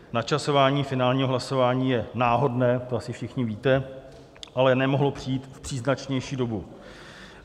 Načasování finálního hlasování je náhodné, to asi všichni víte, ale nemohlo přijít v příznačnější dobu.